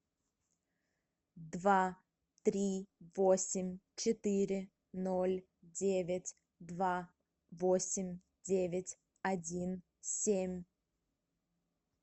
два три восемь четыре ноль девять два восемь девять один семь